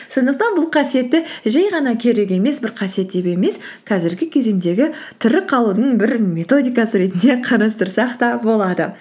сондықтан бұл қасиетті жай ғана керек емес бір қасиет деп емес қазіргі кезеңдегі тірі қалудың бір методикасы ретінде қарастырсақ та болады